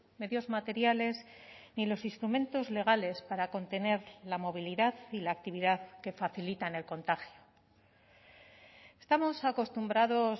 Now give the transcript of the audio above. medios materiales ni los instrumentos legales para contener la movilidad y la actividad que facilitan el contagio estamos acostumbrados